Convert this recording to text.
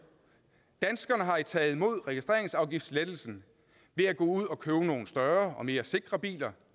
danskerne har jo taget imod registreringsafgiftslettelsen ved at gå ud og købe nogle større og mere sikre biler